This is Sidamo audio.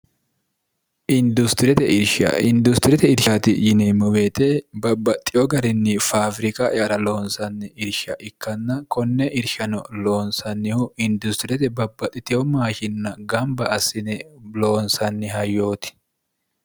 idishindustiriyete irshaati yineemmo beete babbaxxiyo garinni faawirika ara loonsanni irsha ikkanna konne irshano loonsannihu industiriyete babbaxxitiho maashinna gamba assine loonsanni ha yooti